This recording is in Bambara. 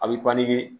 A bɛ